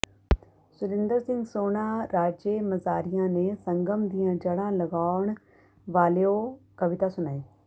ਸੁਰਿੰਦਰ ਸਿੰਘ ਸੋਹਣਾ ਰਾਜੇਮਾਜ਼ਰੀਆ ਨੇ ਸੰਗਮ ਦੀਆਂ ਜੜਾਂ ਲਗਾਉਣ ਵਾਲਿਓ ਕਵਿਤਾ ਸੁਣਾਈ